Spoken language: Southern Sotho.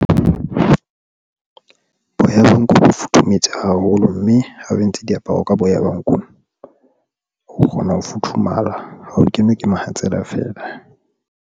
Boya ba nku bo futhumetse haholo, mme ha o entse diaparo ka boya, ba nku o kgona ho futhumala ho o kenwe ke mohatsela feela.